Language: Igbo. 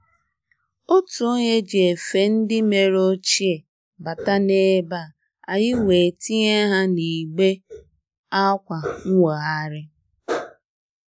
Ótú ónyé jí éfé ndí mèré óchíé bátá n’ébé á, ànyị́ wéé tínyé há n’ígbé ákwụ̀ nwóghárí.